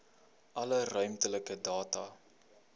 alle ruimtelike data